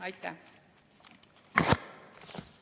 Aitäh!